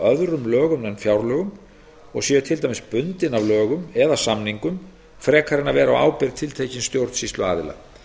öðrum lögum en fjárlögum og séu til dæmis bundin af lögum eða samningum frekar en að vera á ábyrgð tiltekins stjórnsýsluaðila